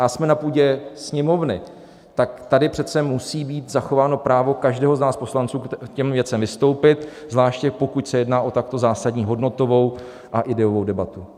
A jsme na půdě Sněmovny, tak tady přece musí být zachováno právo každého z nás poslanců k těm věcem vystoupit, zvláště pokud se jedná o takto zásadní hodnotovou a ideovou debatu.